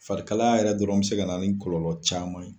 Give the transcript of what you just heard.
Farikalya yɛrɛ dɔrɔn bɛ se ka na ni kɔlɔlɔ caman ye.